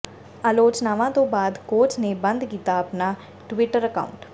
ਆਲੋਚਨਾਵਾਂ ਤੋਂ ਬਾਅਦ ਕੋਚ ਨੇ ਬੰਦ ਕੀਤਾ ਆਪਣਾ ਟਵੀਟਰ ਅਕਾਊਂਟ